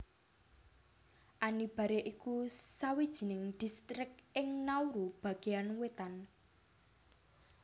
Anibare iku sawijining distrik ing Nauru bagéan wétan